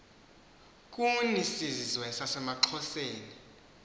kuni zizwe zasemaxhoseni